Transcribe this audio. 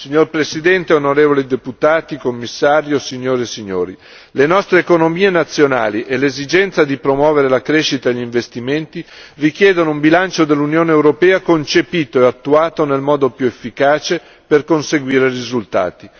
Signor Presidente, onorevoli deputati, signor Commissario, signore e signori, le nostre economie nazionali e l'esigenza di promuovere la crescita in investimenti richiedono un bilancio dell'Unione europea concepito e attuato nel modo più efficace per conseguire i risultati.